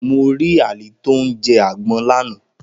Mo rí Ali tó ń jẹ àgbon lánàá